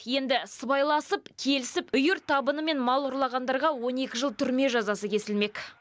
енді сыбайласып келісіп үйір табынымен мал ұрлағандарға он екі жыл түрме жазасы кесілмек